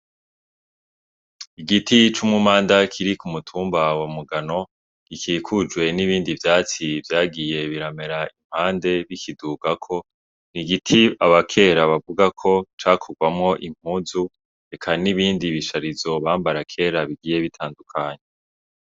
Igiti c'umumanda kiri ku mutumba wa mugano gikikujwe n'ibindi vyatsi vyagiye biramera impande bikidugako n'igiti abakera bavuga ko cakorwamwo impuzu eka n'ibindi bisharizo bambara kera bigiye bitandukanye.